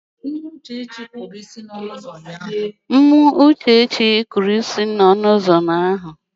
Nwa Uchechi kụrụ isi n'ọnụ ụzọ ụnyaahụ.